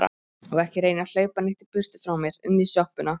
Og ekki reyna að hlaupa neitt í burtu frá mér. inn í sjoppuna!